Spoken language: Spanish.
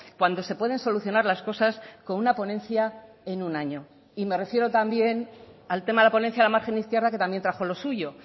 cuando se pueden solucionar las cosas con una ponencia en un año y me refiero también al tema de la ponencia de la margen izquierda que también trajo lo suyo